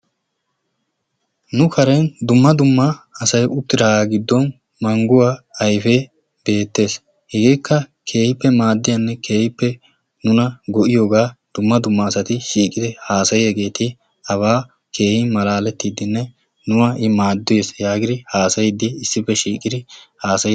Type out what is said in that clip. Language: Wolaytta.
nu karen dumma dumma asay uttidaagaa giddon mangguwaa ayifee beettees. hegeekka keehippe maaddiyaanne maaddiyaanne keehippe nuna go"iyoogaa dumma dumma asati shiiqidi haasayiyaageeti abaa keehin malaalettiddi nuna i maaddees yaagidi haasayiiddi issippe shiiqidi haasayi